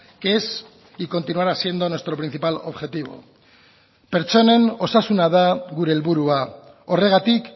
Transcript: que es y continuará siendo nuestro principal objetivo pertsonen osasuna da gure helburua horregatik